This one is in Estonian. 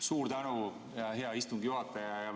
Suur tänu, hea istungi juhataja!